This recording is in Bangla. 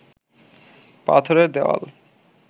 পাথরের দেওয়াল